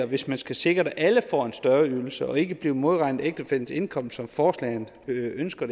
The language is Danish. hvis man skal sikre at alle får en større ydelse og ikke bliver modregnet i ægtefællens indkomst som forslaget ønsker